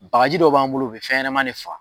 Bakaji dɔ b'an bolo o be fɛnɲanama ne faga